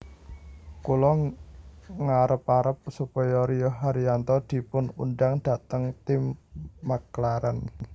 Kula ngarep arep supaya Rio Haryanto dipun undang dateng tim McLaren